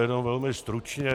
Jenom velmi stručně.